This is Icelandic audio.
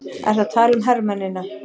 Ertu að tala um hermennina?